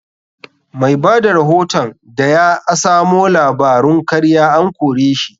Mai bada rahoton da ya asamo labarun karya an kore shi.